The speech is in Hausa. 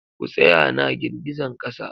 Ku tsaya na girgizan kasa!